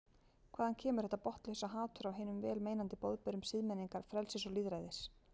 Hvaðan kemur þetta botnlausa hatur á hinum vel meinandi boðberum siðmenningar, frelsis og lýðræðis?